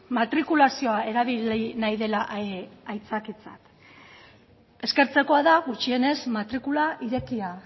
matrikulazioa erabili nahi dela aitzakiatzat eskertzekoa da gutxienez matrikula irekia